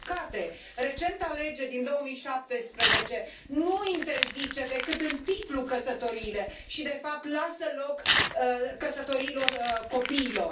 Din păcate, recenta lege din 2017 nu interzice decât în titlu căsătoriile și de fapt lasă loc căsătoriilor copiilor.